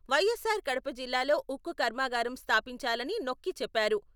వైఎస్సార్ కడప జిల్లాలో ఉక్కు కర్మాగారం స్థాపించాలని నొక్కి చెప్పారు.